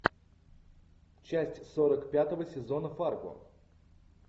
часть сорок пятого сезона фарго